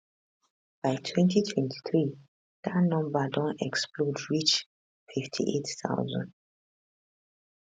by 2023 dat number don explode reach 58000